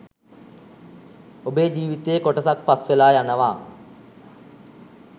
ඔබේ ජීවිතයේ කොටසක් පස් වෙලා යනවා